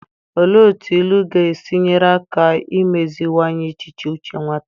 Olee otú ilu ga-esi nyere aka imeziwanye echiche uche nwata?